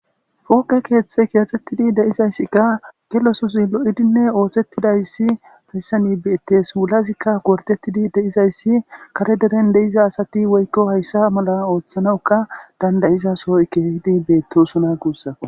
Pooqe keeththe kiyaxettidi deizayssikka gelososi lo'idinne oohtettidayssi hayssani beetes wulazikka wortettidi deizayssi kare deren deiza asati woykko hayssa mala ooththanawuka dandayiza sohoy keehidi beettosona guussa